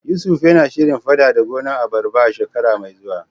Yusuf na shirin fadada gonar abarba a shekara mai zuwa.